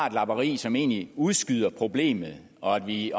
et lapperi som egentlig udskyder problemet og at vi